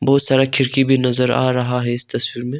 बहुत सारा खिड़की भी नजर आ रहा है इस तस्वीर में।